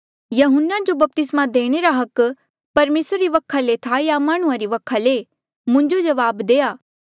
यहून्ना जो बपतिस्मा देणे रा हक परमेसरा री वखा ले था या माह्णुं वखा ले मुंजो जवाब देआ